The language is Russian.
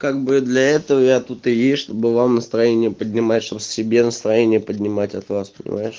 как бы для этого я тут и есть чтобы вам настроение поднимать чтобы себе настроение поднимать от вас понимаешь